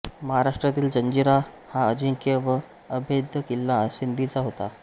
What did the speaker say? महाराष्ट्रातील जंजिरा हा अजिंक्य व अभेद्य किल्ला सिद्दींचा होता